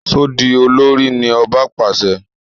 So di olórí! ní ọba pàṣẹ.